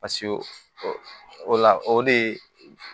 Pasi o la o de